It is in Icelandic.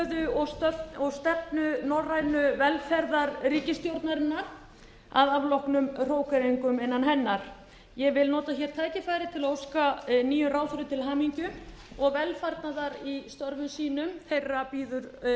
stöðu og stefnu norrænu velferðarríkisstjórnarinnar að afloknum hrókeringum innan hennar ég vil nota hér tækifærið til að óska nýjum ráðherrum til hamingju og velfarnaðar í störfum sínum þeirra bíður